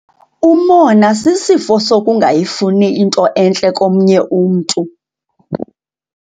Umona sisifo sokungayifuni into entle komnye umntu.